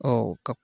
Ɔ ka